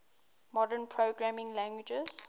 modern programming languages